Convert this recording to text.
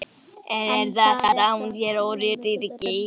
En er það satt að hann sér öryrki?